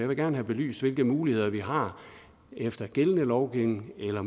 vil gerne have belyst hvilke muligheder vi har efter gældende lovgivning eller